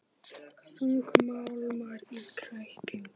Þungmálmar í kræklingi